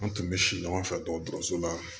An tun bɛ si ɲɔgɔn fɛ dɔkɔtɔrɔso la